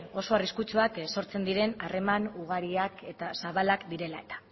oso arriskutsuak ere sortzen diren harreman ugariak eta zabalak direla eta